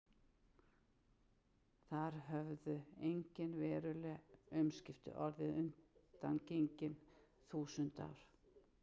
Þar höfðu engin veruleg umskipti orðið undangengin þúsund ár.